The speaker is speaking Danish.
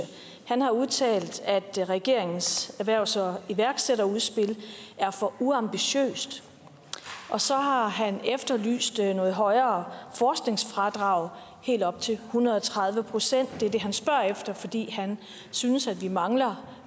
har udtalt at regeringens erhvervs og iværksætterudspil er for uambitiøst og så har han efterlyst et højere forskningsfradrag helt op til en hundrede og tredive procent det er det han spørger efter fordi han synes at vi mangler